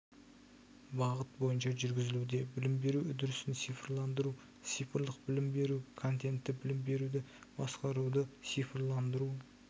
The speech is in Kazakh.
бағыт бойынша жүргізілуде білім беру үдерісін цифрландыру цифрлық білім беру контенті білім беруді басқаруды цифрландыру